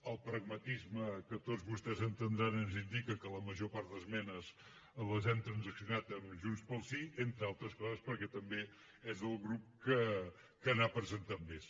el pragmatisme que tots vostès entendran ens indica que la major part d’esmenes les hem transaccionat amb junts pel sí entre altres coses perquè també és el grup que n’ha presentat més